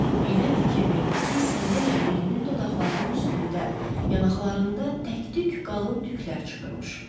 Birdən fikir verdi ki, sən demə Mirinin dodaqlarının üstündə, yanaqlarında təktük qalın tüklər çıxırmış.